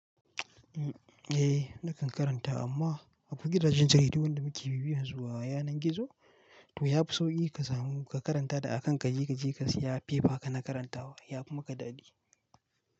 Eh nakan karanta amma akwai gidajen jaridu wanda muke bibiyan su a yanar gizo to yafi sauki ka samu ka karanta da a kan ka je ka je ka siya fefa ka na karantawa yafi maka daɗi.